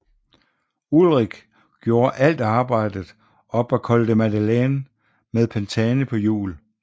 Ullrich gjorde alt arbejdet op ad Col de la Madeleine med Pantani på hjul